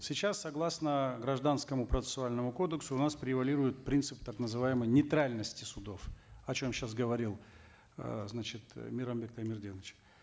сейчас согласно гражданскому процессуальному кодексу у нас превалирует принцип так называемой нейтральности судов о чем сейчас говорил э значит мейрамбек таймерденович